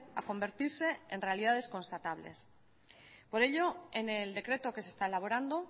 a convertirse en realidades constatables por ello en el decreto que se está elaborando